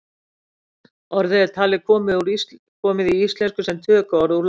orðið er talið komið í íslensku sem tökuorð úr latínu